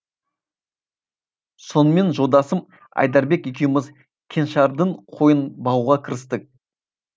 сонымен жолдасым айдарбек екеуміз кеңшардың қойын бағуға кірістік